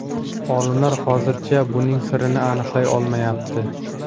Olimlar hozircha buning sirini aniqlay olmayapti.